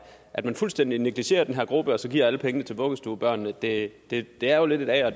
at man fuldstændig negligerer den her gruppe og så giver alle pengene til vuggestuebørnene det det er jo lidt et a